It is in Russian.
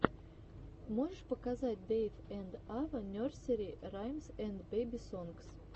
можешь показать дэйв энд ава нерсери раймс энд бэби сонгс